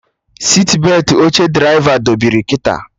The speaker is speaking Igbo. Sitbetị oche draịva dobiri kịta